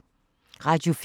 Radio 4